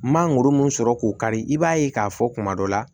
Mangoro mun sɔrɔ k'o kari i b'a ye k'a fɔ kuma dɔ la